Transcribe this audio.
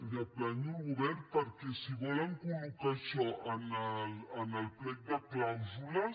ja planyo el govern perquè si volen col·locar això en el plec de clàusules